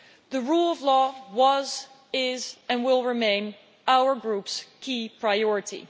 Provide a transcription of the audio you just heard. The rule of law was, is and will remain our Group's key priority.